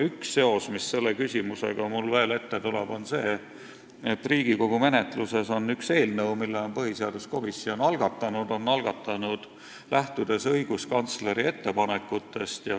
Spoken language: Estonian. Üks seos, mis mulle selle küsimuse tõttu veel meelde tuleb, on see, et Riigikogu menetluses on üks eelnõu, mille on algatanud põhiseaduskomisjon, lähtudes õiguskantsleri ettepanekutest.